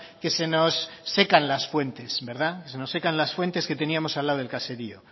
que se nos secan las fuentes verdad que se nos secan las fuentes que teníamos al lado del caserío